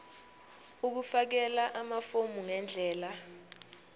ukufakela amafomu ngendlela